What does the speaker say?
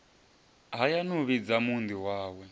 hayani u vhidza muunḓi wawe